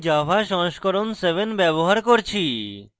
এবং java সংস্করণ 7 ব্যবহার করছি